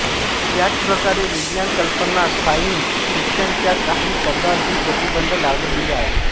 याच प्रकारे विज्ञान कल्पना साइंस फिक्शन च्या काही शब्दांवर ही प्रतिबंध लावले गेले आहे